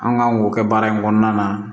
An kan k'o kɛ baara in kɔnɔna na